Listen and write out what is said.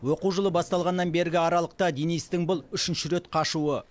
оқу жылы басталғаннан бергі аралықта денистің бұл үшінші рет қашуы